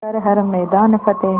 कर हर मैदान फ़तेह